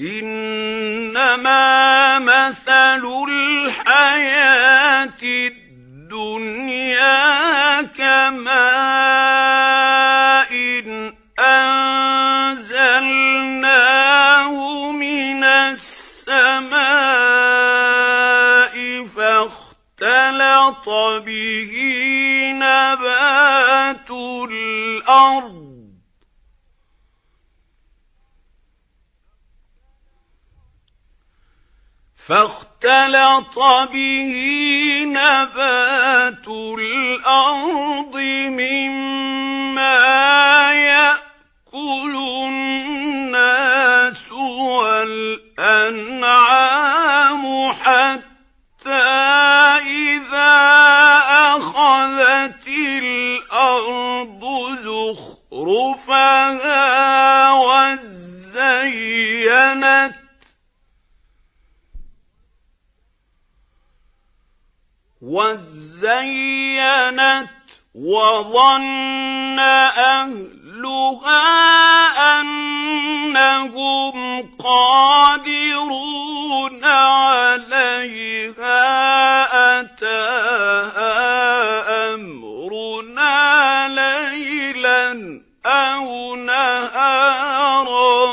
إِنَّمَا مَثَلُ الْحَيَاةِ الدُّنْيَا كَمَاءٍ أَنزَلْنَاهُ مِنَ السَّمَاءِ فَاخْتَلَطَ بِهِ نَبَاتُ الْأَرْضِ مِمَّا يَأْكُلُ النَّاسُ وَالْأَنْعَامُ حَتَّىٰ إِذَا أَخَذَتِ الْأَرْضُ زُخْرُفَهَا وَازَّيَّنَتْ وَظَنَّ أَهْلُهَا أَنَّهُمْ قَادِرُونَ عَلَيْهَا أَتَاهَا أَمْرُنَا لَيْلًا أَوْ نَهَارًا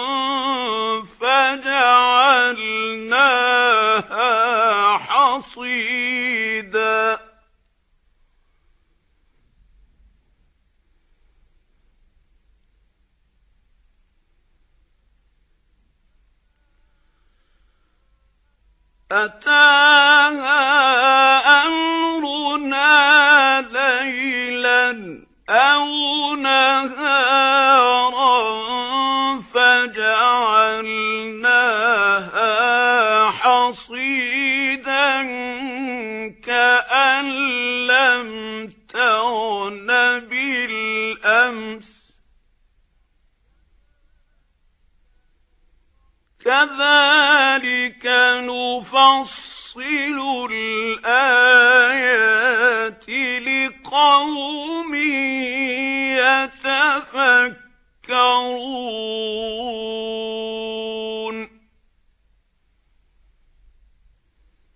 فَجَعَلْنَاهَا حَصِيدًا كَأَن لَّمْ تَغْنَ بِالْأَمْسِ ۚ كَذَٰلِكَ نُفَصِّلُ الْآيَاتِ لِقَوْمٍ يَتَفَكَّرُونَ